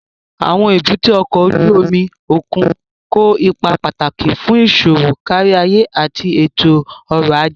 Àwọn èbúté ọkọ̀ ojú omi òkun kó ipa pàtàkì fún iṣowo káríayé àti ètò ọ̀rọ̀ ajé